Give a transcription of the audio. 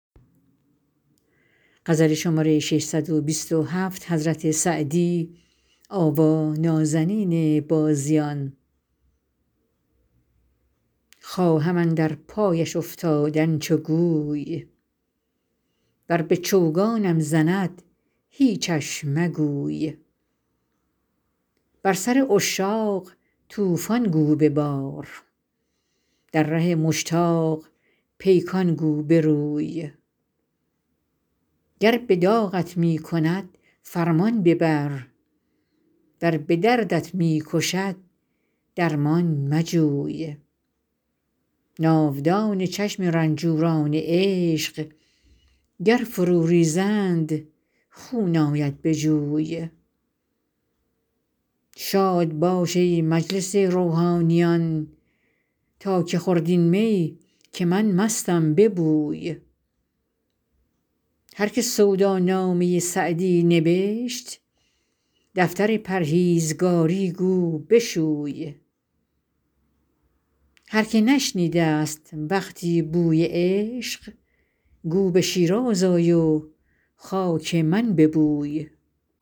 خواهم اندر پایش افتادن چو گوی ور به چوگانم زند هیچش مگوی بر سر عشاق طوفان گو ببار در ره مشتاق پیکان گو بروی گر به داغت می کند فرمان ببر ور به دردت می کشد درمان مجوی ناودان چشم رنجوران عشق گر فرو ریزند خون آید به جوی شاد باش ای مجلس روحانیان تا که خورد این می که من مستم به بوی هر که سودا نامه سعدی نبشت دفتر پرهیزگاری گو بشوی هر که نشنیده ست وقتی بوی عشق گو به شیراز آی و خاک من ببوی